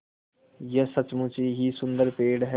यह सचमुच ही सुन्दर पेड़ है